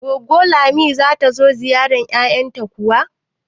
Goggo Lami zata zo ta ziyarci yayanta kuwa?